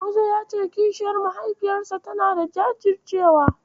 Musa ya ce kishiyar mahaifiyarsa tanada jajircewa.